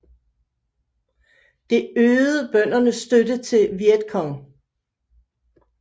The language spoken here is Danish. Det øgede bøndernes støtte til Vietcongh